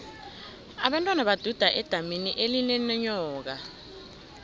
abentwana baduda edamini elinenyoka